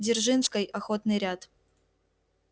дзержинской охотный ряд